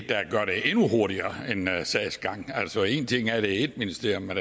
endnu hurtigere sagsgang altså en ting er at det er ét ministerium men